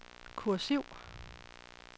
kursiv